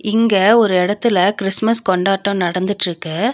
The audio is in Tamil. இங்க ஒரு எடத்துல கிறிஸ்மஸ் கொண்டாட்டோ நடந்துட்ருக்கு.